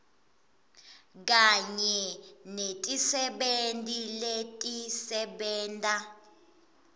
kanye netisebenti letisebenta